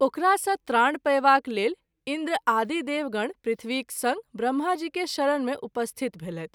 ओकरा सँ त्राण पयवाक लेल इंन्द्र आदि देवगण पृथ्वीक संग ब्रम्हा जी के शरण मे उपस्थित भेलैथ।